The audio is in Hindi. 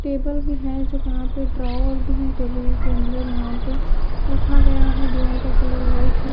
टेबल भी है जो यहां पे ड्रावर है जो इनके अंदर यहां पे रखा गया है दीवार का कलर वाइट है।